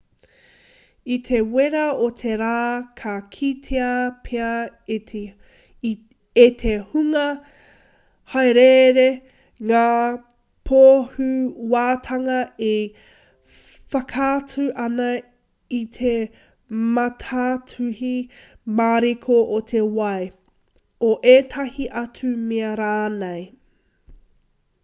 i te wera o te rā ka kitea pea e te hunga hāereere ngā pōhewatanga e whakaatu ana i te mātātuhi mariko o te wai o ētahi atu mea rānei